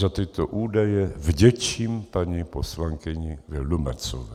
Za tyto údaje vděčím paní poslankyni Vildumetzové.